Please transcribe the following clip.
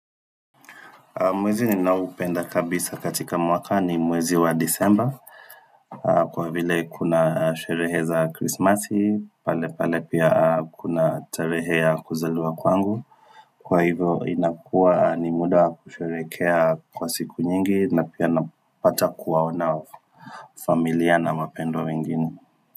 Mwezi ninaoupenda kabisa katika mwaka ni mwezi wa disemba Kwa vile kuna sherehe za krismasi, pale pale pia kuna tarehe ya kuzaliwa kwangu Kwa hivyo inakua ni muda ya kusherehekea kwa siku nyingi na pia napata kuwaona familia na mapendo mengine.